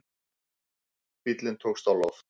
Bíllinn tókst á loft